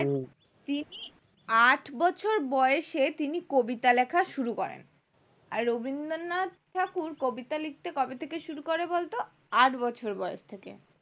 আট বছর বয়সে তিনি কবিতা লেখা শুরু করেন রবীন্দ্রনাথ ঠাকুর কবিতা লিখতে কবে থেকে শুরু করে বলতো আট বছর বয়স থেকে